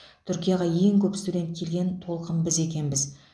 түркияға ең көп студент келген толқын біз екенбіз